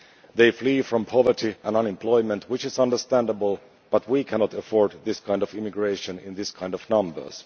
They flee from poverty and unemployment, which is understandable, but we cannot afford this kind of immigration in these kinds of numbers.